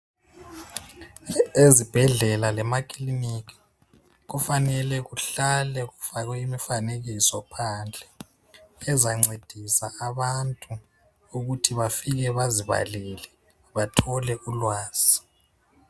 Ezibhedlela lemakiliniki kufanele kuhlale kufakwe imifanekiso phandle. Ezancedisa abantu ukuthi bafike bazivalele bathole ulwazi.